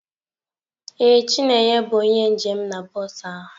Ee, chineye bụ onye njem na bọs ahụ.